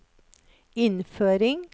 innføring